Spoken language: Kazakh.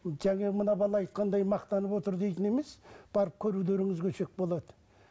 жаңа мына бала айтқандай мақтанып отыр дейтін емес барып көрулеріңізге болады